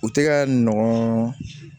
U tɛ ka nɔgɔn